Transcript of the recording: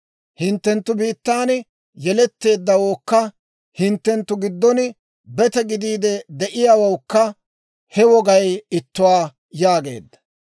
Hinttenttu biittaan yeletteeddawookka hinttenttu giddon bete gidiide de'iyaawawukka he wogay ittuwaa» yaageedda.